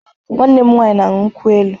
Nwanne m nwanyi na añyu nkwụ-elụ